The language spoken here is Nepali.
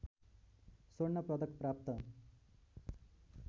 स्वर्ण पदक प्राप्त